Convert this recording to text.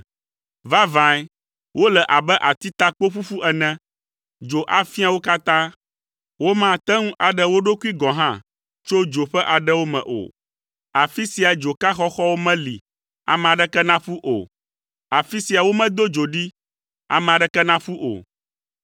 Vavãe wole abe atitakpo ƒuƒu ene. Dzo afia wo katã. Womate ŋu aɖe wo ɖokui gɔ̃ hã tso dzo ƒe aɖewo me o. Afi sia dzoka xɔxɔwo meli ame aɖeke naƒu o. Afi sia womedo dzo ɖi, ame aɖeke naƒu o.